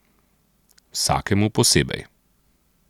Vsakemu posebej.